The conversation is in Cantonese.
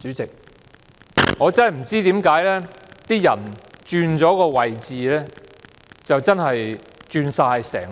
主席，我真的不知道為何有人在轉了位置後，整